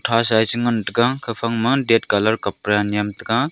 hasa ye chingantaga gafang ma that colour kapda nyemtaga.